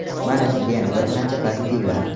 Mana sizga yana bir qancha pozitivlar.